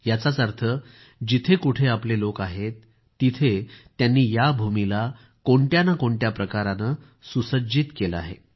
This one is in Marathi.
याचाच अर्थ जिथं कुठं आपले लोक आहेत तिथं त्यांनी या भूमीला कोणत्या ना कोणत्या प्रकारानं सुसज्जित केले आहे